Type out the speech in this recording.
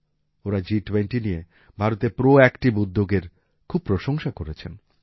ওঁরা জিটুয়েন্টি নিয়ে ভারতের প্রোঅ্যাকটিভ উদ্যোগের খুব প্রশংসা করেছেন